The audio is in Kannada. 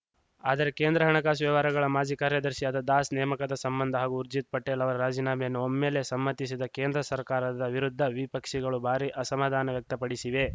ಆದರೆ ಕೇಂದ್ರ ಹಣಕಾಸು ವ್ಯವಹಾರಗಳ ಮಾಜಿ ಕಾರ್ಯದರ್ಶಿಯಾದ ದಾಸ್‌ ನೇಮಕದ ಸಂಬಂಧ ಹಾಗೂ ಊರ್ಜಿತ್‌ ಪಟೇಲ್‌ ಅವರ ರಾಜೀನಾಮೆಯನ್ನು ಒಮ್ಮೆಲೇ ಸಮ್ಮತಿಸಿದ ಕೇಂದ್ರ ಸರ್ಕಾರದ ವಿರುದ್ಧ ವಿಪಕ್ಷಗಳು ಭಾರೀ ಅಸಮಾಧಾನ ವ್ಯಕ್ತಪಡಿಸಿವೆ